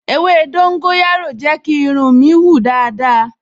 Ewé dóńgóyárò jẹ́ kí irun mi hun dáadáa